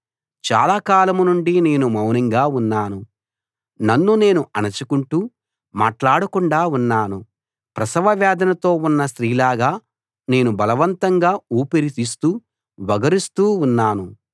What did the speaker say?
చాలాకాలం నుండి నేను మౌనంగా ఉన్నాను నన్ను నేను అణచుకుంటూ మాట్లాడకుండా ఉన్నాను ప్రసవ వేదనతో ఉన్న స్త్రీలాగా నేను బలవంతంగా ఊపిరి తీస్తూ ఒగరుస్తూ ఉన్నాను